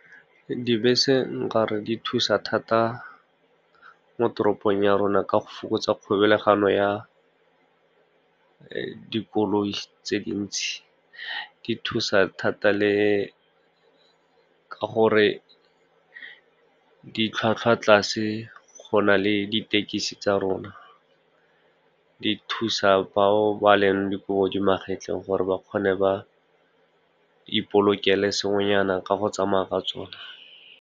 Dibese, nkare di thusa thata mo toropong ya rona ka go fokotsa kgolagano ya dikoloi tse dintsi. Di thusa thata le ka gore ditlhwatlhwa tlase go na le ditekisi tsa rona. Di thusa ba o ba leng dikobo di magetleng, gore ba kgone ba ipolokela sengwenyana ka go tsamaya ka tsone.